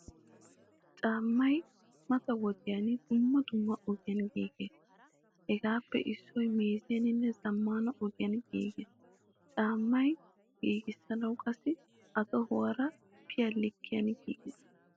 Caamay mata wodiyan dumma dumma ogiyaan giigees. Hegaappe issoy meeziyanine zamaana ogiyaan giigees. Caama giigisanawu qassi a tohuwaara biyaa likkiyan giigees.